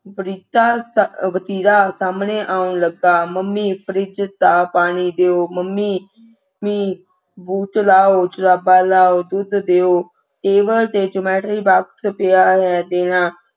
ਵਾਰਿਤਾ ਅਹ ਵਰਤੀਰਾ ਸਾਹਮਣੇ ਆਉਣ ਲੱਗਾ ਮੰਮੀ ਫਰਿੱਜ ਦਾ ਪਾਣੀ ਦਿਓ ਮੰਮੇ ਮੰਮੀ boot ਲਾਊ ਜੁਰਾਬਾਂ ਲਾਊ ਦੁੱਧ ਦਿਓ table ਤੇ geometry box ਪਿਆ ਹੋਇਆ ਹੈ ਦੇਣਾ